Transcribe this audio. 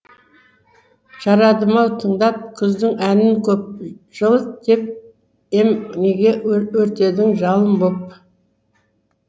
жарадым ау тыңдап күздің әнін көп жылыт деп ем неге өртедің жалын боп